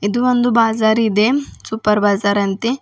ಇದು ಒಂದು ಬಾಜಾರ್ ಇದೆ ಸೂಪರ್ ಬಾಜಾರ್ ಅಂತೆ.